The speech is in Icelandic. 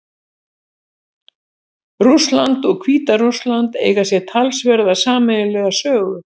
Rússland og Hvíta-Rússland eiga sér talsverða sameiginlega sögu.